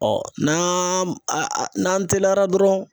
n'an n'an teliyara dɔrɔn